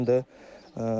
Bu il 80 qramdır.